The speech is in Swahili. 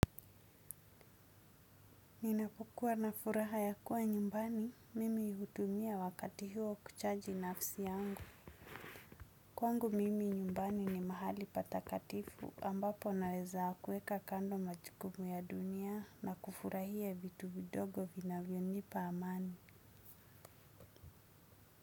Ninapokuwa na furaha ya kuwa nyumbani, mimi hutumia wakati huo kuchaji nafsi yangu. Kwangu mimi nyumbani ni mahali patakatifu ambapo naweza kuweka kando majukumu ya dunia na kufurahia vitu vidogo vinavyonipa amani.